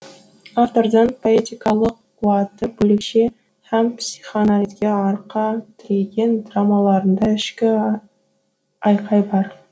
автордың поэтикалық қуаты бөлекше һәм психоанализге арқа тіреген драмаларында ішкі айқай бар